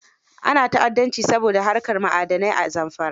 Ana ta'addanci saboda haƙar ma'adanai a Zamfara.